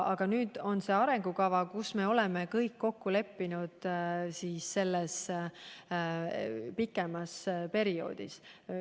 Aga nüüd on meil see arengukava, milles oleme kõik kokku leppinud pikema perioodi ulatuses.